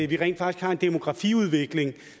vi rent faktisk har en demografiudvikling